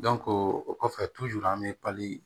o kɔfɛ an bɛ pali